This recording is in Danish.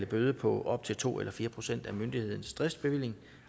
bøde på op til to eller fire procent af myndighedens driftsbevilling